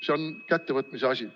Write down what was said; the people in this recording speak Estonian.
See on kättevõtmise asi.